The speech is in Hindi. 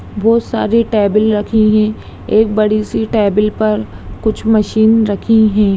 बहुत सारी टेबल रखी है एक बड़ी-सी टेबल पर कुछ मशीन रखी है।